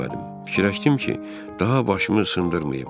Fikirləşdim ki, daha başımı sındırmayım.